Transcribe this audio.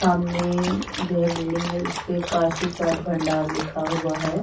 सामने जो है बिल्डिंग है जिसपे कासी चाट भंडार लिखा हुआ है।